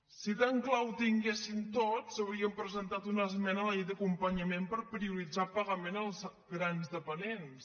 si tan clar ho tinguessin tots haurien presentat una esmena a la llei d’acompanyament per prioritzar el pagament als grans dependents